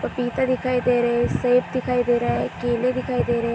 पपीता दिखाई दे रहे हैं सेब दिखाई दे रहा हैं केले दिखाई दे रहें हैं।